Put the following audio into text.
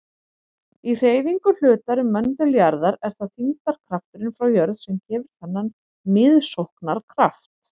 Í hreyfingu hlutar um möndul jarðar er það þyngdarkrafturinn frá jörð sem gefur þennan miðsóknarkraft.